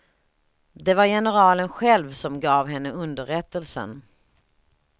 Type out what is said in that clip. Det var generalen själv, som gav henne underrättelsen.